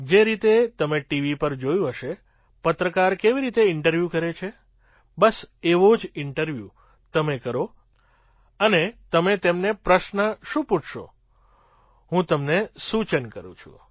જે રીતે તમે ટીવી પર જોયું હશે પત્રકાર કેવી રીતે ઇન્ટરવ્યૂ કરે છે બસ એવો જ ઇન્ટરવ્યૂ તમે કરો અને તમે તેમને પ્રશ્ન શું પૂછશો હું તમને સૂચન કરું છું